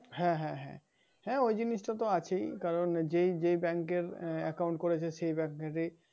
হ্যাঁ হ্যাঁ, হ্যাঁ ওই জিনিশটা তো আছেই কারন যে যেই bank এর আহ account করেছে সে সেই bank এ যেই